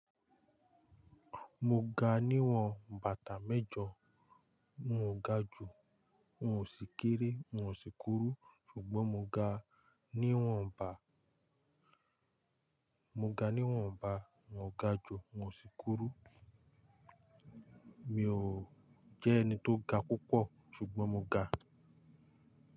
Mo ga níwọ̀n bàtà mẹ́jọ, n ò ga ju, n ò sì kéré, n ò sì kúrú, ṣùgbọ́n mo ga níwọ̀n ba, mo ga níwọ̀n ba, n ò ga ju, n ò sì kúrú. Mi ò jẹ́ ẹni tó ga púpọ̀, ṣùgbọ́n mo ga.